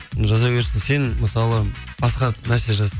жаза берсін сен мысалы басқа нәрсе жаз